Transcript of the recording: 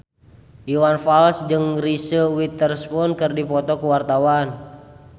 Iwan Fals jeung Reese Witherspoon keur dipoto ku wartawan